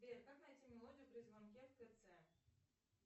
сбер как найти мелодию при звонке в тц